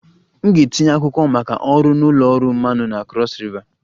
M ga-etinye akwụkwọ maka ọrụ na ụlọ ọrụ mmanụ na Cross river